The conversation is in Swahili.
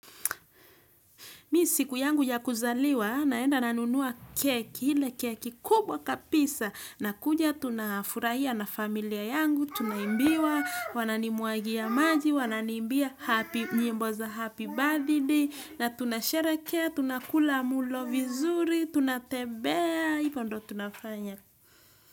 Mimi siku yangu ya kuzaliwa, naenda nanunua keki, ile keki kubwa kabisa. Nakuja, tunafurahia na familia yangu, tunaimbiwa, wananimwagia maji, wananiimbia, nyimbo za, happy birthday. Na tunasharehekea, tunakula mlo vizuri, tunatembea, hivo ndio tunafanya.